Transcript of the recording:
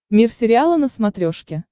мир сериала на смотрешке